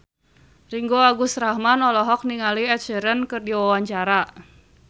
Ringgo Agus Rahman olohok ningali Ed Sheeran keur diwawancara